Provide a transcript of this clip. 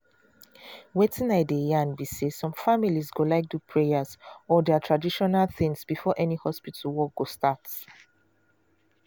wetin i dey yarn be say some families go like do prayer or their traditional things before any hospital work go start.